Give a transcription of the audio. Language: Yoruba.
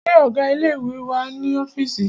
Ṣé ọgá ilé ìwé wà ní ọ́fìísì?